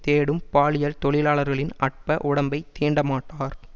தேடும் பாலியல் தொழிலாளர்கலின் அற்ப உடம்பை தீண்டமாட்டார்